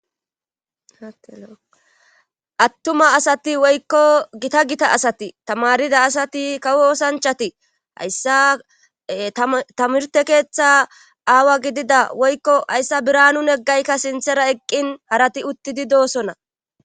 attuma asati woykko gita gita asati tamarida asati kawo osanchati hayssa tamirte keeththa aawa gidida woykko hayssa biranun neggaykka sinthera eqqin harati uttidi doosona